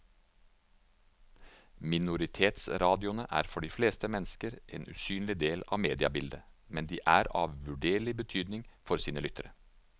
Minoritetsradioene er for de fleste mennesker en usynlig del av mediebildet, men de er av uvurderlig betydning for sine lyttere.